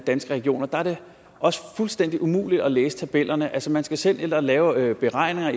danske regioner der er det også fuldstændig umuligt at læse tabellerne altså man skal selv ind at lave beregninger